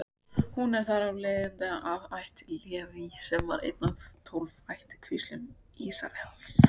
Hún er þar af leiðandi af ætt Leví, sem var ein af tólf ættkvíslum Ísraels.